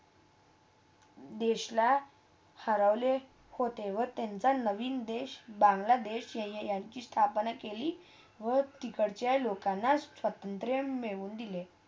देशला हरवले होते व त्यांच्या नवीन देश, बंगलादेश या ~यांचची स्थापना केली व तिकडच्या लोकांना स्वतंत्र मिळून देले